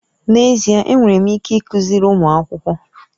N'ezie ee! Enwere m ike ịkụziri ụmụ akwụkwọ.